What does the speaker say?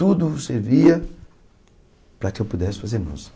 Tudo servia para que eu pudesse fazer música.